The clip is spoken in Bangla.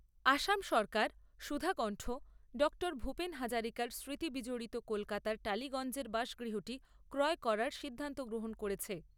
আসাম সরকার সুধাকন্ঠ ডাক্তার ভূপেন হাজারিকার স্মৃতি বিজড়িত কলকাতার টালিগঞ্জের বাসগৃহটি ক্রয় করার সিদ্ধান্ত গ্রহণ করেছে।